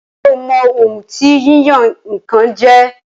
Ṣé o mọ ohun tí yíyan-nǹkan jẹ́?